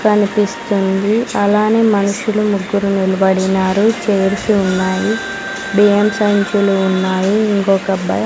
కనిపిస్తుంది అలానే మనుషులు ముగ్గురు నిలబడినారు చేర్స్ ఉన్నాయి బియ్యం సంచులు ఉన్నాయి ఇంకొక అబ్బాయి.